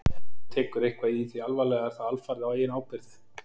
ef einhver tekur eitthvað í því alvarlega er það alfarið á eigin ábyrgð